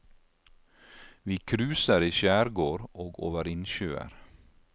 Vi kruser i skjærgård og over innsjøer.